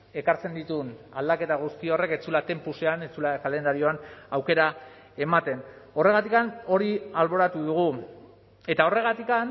ekartzen dituen aldaketa guzti horrek ez zuela tempusean ez zuela kalendarioan aukera ematen horregatik hori alboratu dugu eta horregatik